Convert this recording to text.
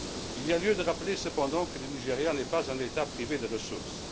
Il y a lieu de rappeler cependant que le Nigeria n'est pas un État privé de ressources.